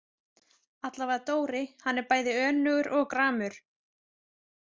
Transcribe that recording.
Allavega Dóri, hann er bæði önugur og gramur.